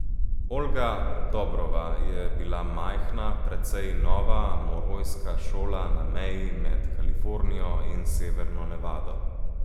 Olga Dobrova je bila majhna, precej nova morojska šola na meji med Kalifornijo in severno Nevado.